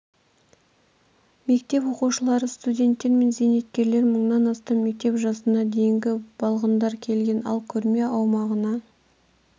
мектеп оқушылары студенттер мен зейнеткерлер мыңнан астам мектеп жасына дейінгі балғындар келген ал көрме аумағына